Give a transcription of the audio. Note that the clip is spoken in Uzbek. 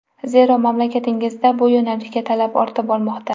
Zero, mamlakatingizda bu yo‘nalishga talab ortib bormoqda.